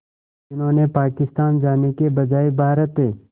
जिन्होंने पाकिस्तान जाने के बजाय भारत